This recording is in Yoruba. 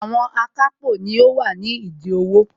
Àwọn akápò ni wọ́n wà nídìí owó